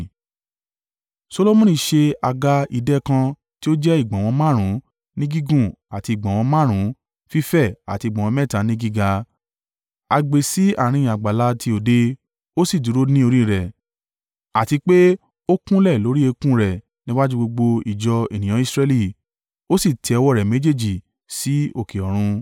Solomoni ṣe àga idẹ kan tí ó jẹ́ ìgbọ̀nwọ́ márùn-ún ní gígùn àti ìgbọ̀nwọ́ márùn-ún fífẹ̀ àti ìgbọ̀nwọ́ mẹ́ta ní gíga, a gbé e sí àárín àgbàlá ti òde. Ó sì dúró ní orí rẹ̀, àti pé ó kúnlẹ̀ lórí eékún rẹ̀ níwájú gbogbo ìjọ ènìyàn Israẹli, ó sì tẹ́ ọwọ́ rẹ̀ méjèèjì sí òkè ọ̀run.